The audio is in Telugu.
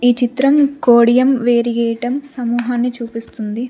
ఈ చిత్రం కోడియం వేరియేటం సమూహాన్ని చూపిస్తుంది.